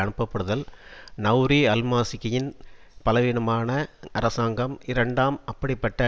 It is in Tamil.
அனுப்பப்படுதல் நெளரி அல்மாலிகியின் பலவீனமான அரசாங்கம் இரண்டாம் அப்படிப்பட்ட